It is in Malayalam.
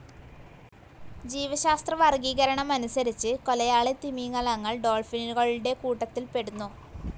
ജീവശാസ്ത്രവർഗീകരണമനുസരിച്ച് കൊലയാളി തിമിംഗലങ്ങൾ ഡോൾഫിനുകളുടെ കൂട്ടത്തിൽപ്പെടുന്നു.